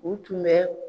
U tun bɛ